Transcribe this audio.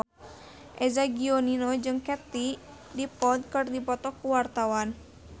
Eza Gionino jeung Katie Dippold keur dipoto ku wartawan